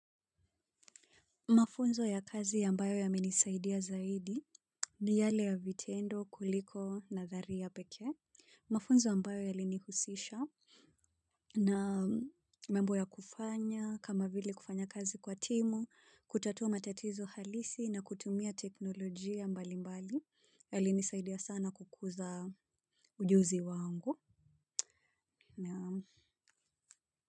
Mafunzo ya kazi yambayo yamenisaidia zaidi ni yale ya vitendo kuliko nadhari ya peke. Mafunzo ambayo yalinihusisha na membo ya kufanya, kama vili kufanya kazi kwa timu, kutatua matatizo halisi na kutumia teknolojia mbali mbali. Yalinisaidia sana kukuza ujuzi wangu. Na.